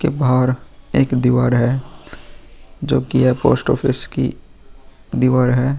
के बाहर एक दीवार है जो की यह पोस्ट ऑफिस की दीवार है।